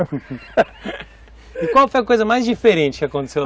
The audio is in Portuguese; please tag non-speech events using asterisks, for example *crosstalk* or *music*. *unintelligible* E qual foi a coisa mais diferente que aconteceu?